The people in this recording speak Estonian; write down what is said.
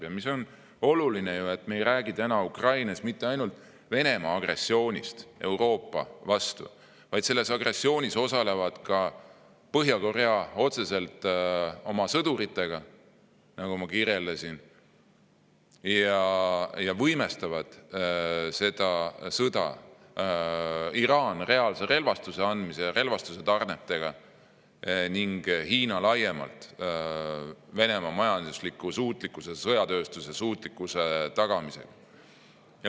Ja oluline on ju see, et Ukraina sõda ei ole mitte ainult Venemaa agressioon Euroopa vastu, vaid selles osaleb otseselt ka Põhja-Korea oma sõduritega, nagu ma kirjeldasin, ning seda võimestavad Iraan reaalsete relvatarnetega ja Hiina laiemalt Venemaa majandusliku ja sõjatööstuse suutlikkuse tagamisega.